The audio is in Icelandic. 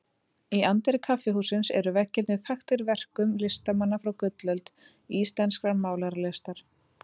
Í anddyri kaffihússins eru veggirnir þaktir verkum listamanna frá gullöld íslenskrar málaralistar.